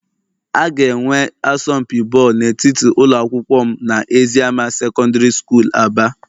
A ga-enwe asọmpi bọọlụ n'etiti ụlọ akwụkwọ m na eziama secondary school Aba